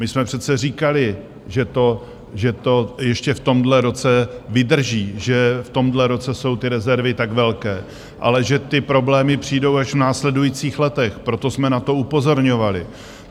My jsme přece říkali, že to ještě v tomhle roce vydrží, že v tomhle roce jsou ty rezervy tak velké, ale že ty problémy přijdou až v následujících letech, proto jsme na to upozorňovali.